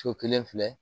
So kelen filɛ